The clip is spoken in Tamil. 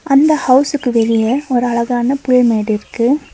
அந்த ஹவுஸுக்கு வெளிய ஒரு அழகான பூ மேடிருக்கு.